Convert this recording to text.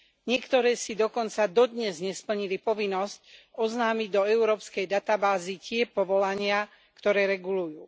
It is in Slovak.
Niektoré si dokonca dodnes nesplnili povinnosť oznámiť do európskej databázy tie povolania, ktoré regulujú.